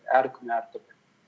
әр күн әртүрлі